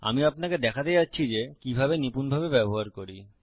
আমি আপনাকে দেখাতে যাচ্ছি যে কিভাবে নিপূণভাবে ব্যবহার করি